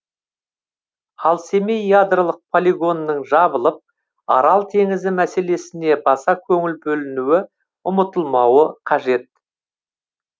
ал семей ядролық полигонының жабылып арал теңізі мәселесіне баса көңіл бөлінуі ұмытылмауы қажет